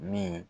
Min